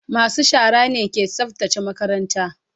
masu shara ne ke tsaftace makaranta.